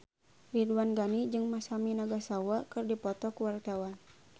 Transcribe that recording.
Ridwan Ghani jeung Masami Nagasawa keur dipoto ku wartawan